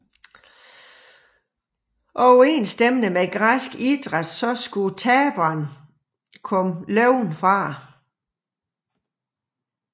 Overensstemmende med græsk idræt skulle taberen komme levende fra det